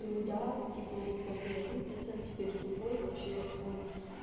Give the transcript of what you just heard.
труда типа у них там был один процент теперь другой и вообще он